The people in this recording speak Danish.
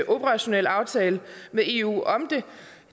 operationel aftale med eu om det